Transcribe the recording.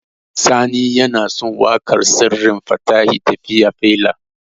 Sani yana son waƙar Sirrin Fatahi "Tafiyar Faila".